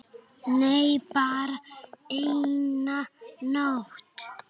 Nei, bara eina nótt.